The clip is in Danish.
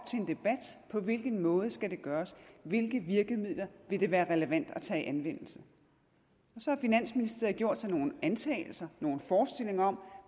på hvilken måde det skal gøres hvilke virkemidler det vil være relevant at tage i anvendelse så har finansministeriet gjort sig nogle antagelser nogle forestillinger om